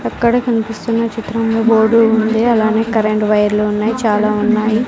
అక్కడ కనిపిస్తున్న చిత్రంలో బోర్డు ఉంది అలానే కరెంటు వైర్లు ఉన్నాయి చాలా ఉన్నాయి.